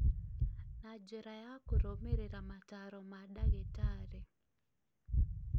na njĩra ya kũrũmĩrĩra mataaro ma ndagĩtarĩ